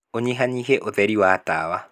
ũnyihanyihie ũtheri wa tawa